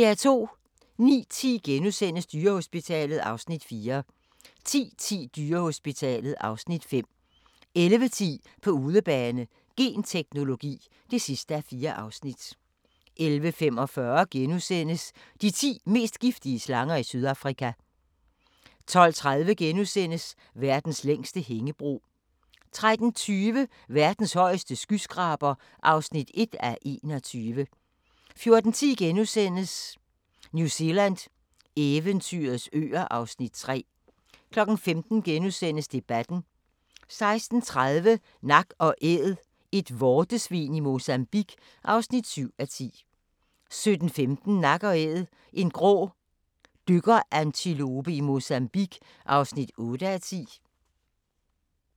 09:10: Dyrehospitalet (Afs. 4)* 10:10: Dyrehospitalet (Afs. 5) 11:10: På udebane: Genteknologi (4:4) 11:45: De ti mest giftige slanger i Sydafrika * 12:30: Verdens længste hængebro * 13:20: Verdens højeste skyskraber (1:21) 14:10: New Zealand – eventyrets øer (Afs. 3)* 15:00: Debatten * 16:30: Nak & Æd – et vortesvin i Mozambique (7:10) 17:15: Nak & Æd – en grå dykkerantilope i Mozambique (8:10)